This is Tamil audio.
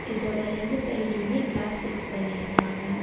இதோட ரெண்டு சைட்லயுமே கிளாஸ் ஃபிக்ஸ் பண்ணி இருக்காங்க.